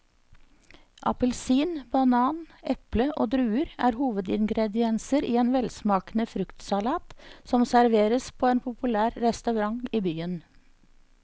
Appelsin, banan, eple og druer er hovedingredienser i en velsmakende fruktsalat som serveres på en populær restaurant i byen.